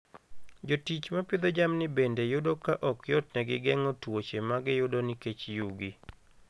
Jotich ma pidho jamni bende yudo ka ok yotnegi geng'o tuoche ma giyudo nikech yugi.